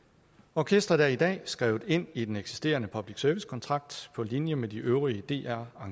orkestret er i dag skrevet ind i den eksisterende public service kontrakt på linje med de øvrige dr